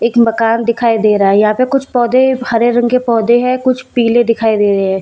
एक मकान दिखाई दे रहा है। यहां पे कुछ पौधे हरे रंग के पौधे हैं कुछ पीले दिखाई दे रहे हैं।